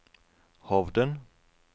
Hovden